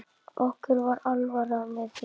Okkur var alvara með því.